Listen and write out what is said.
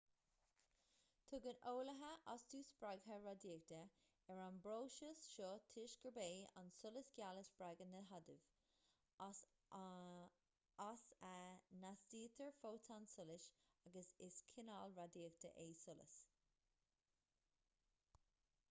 tugann eolaithe astú spreagtha radaíochta ar an bpróiseas seo toisc gurb é an solas geal a spreagann na hadaimh as a n-astaítear fótón solais agus is cineál radaíochta é solas